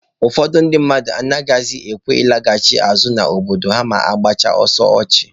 Ụfọdụ ndị mmadụ anaghịkwa ekwe alọghachi azụ n'obodo ha ma ha gbasịa ọsọ ọchụ.